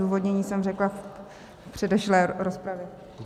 Odůvodnění jsem řekla v předešlé rozpravě.